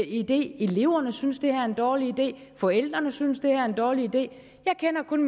idé eleverne synes det er en dårlig idé forældrene synes det er en dårlig idé jeg kender kun